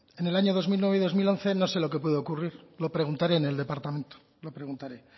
en el año dos mil nueve y dos mil once no sé lo que pudo ocurrir lo preguntaré en el departamento lo preguntaré